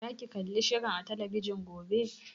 Za ki kalli shirin a talabijin gobe?